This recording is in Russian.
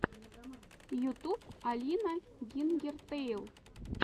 ютуб алина гингертэйл